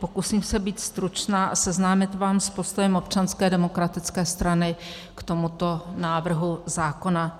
Pokusím se být stručná a seznámit vás s postojem Občanské demokratické strany k tomuto návrhu zákona.